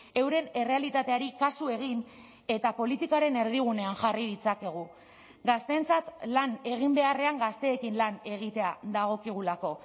euren errealitateari kasu egin eta politikaren erdigunean jarri ditzakegu gazteentzat lan egin beharrean gazteekin lan egitea dagokigulako